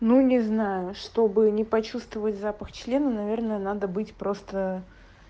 ну не знаю чтобы не почувствовать запах члена наверное надо быть просто